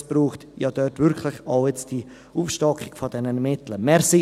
Denn es braucht dort die Aufstockung dieser Mittel wirklich.